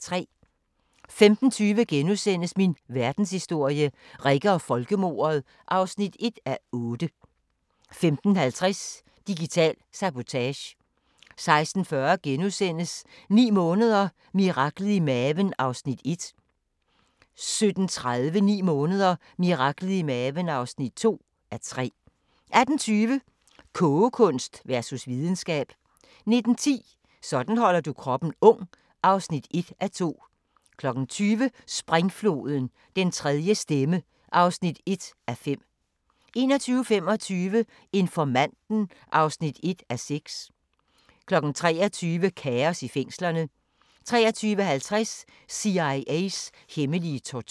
15:20: Min verdenshistorie – Rikke og folkemordet (1:8)* 15:50: Digital sabotage 16:40: 9 måneder – miraklet i maven (1:3)* 17:30: 9 måneder – miraklet i maven (2:3) 18:20: Kogekunst versus videnskab 19:10: Sådan holder du kroppen ung (1:2) 20:00: Springfloden – Den tredje stemme (1:5) 21:25: Informanten (1:6) 23:00: Kaos i fængslerne 23:50: CIA's hemmelige tortur